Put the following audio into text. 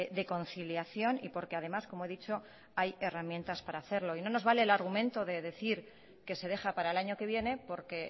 de conciliación y porque además como he dicho hay herramientas para hacerlo y no nos vale el argumento de decir que se deja para el año que viene porque